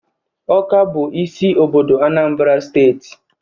Awka bụ isi obodo Anambra Steeti